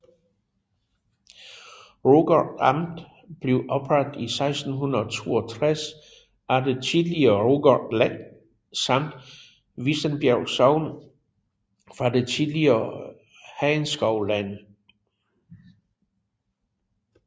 Rugård Amt blev oprettet i 1662 af det tidligere Rugård Len samt Vissenbjerg Sogn fra det tidligere Hagenskov Len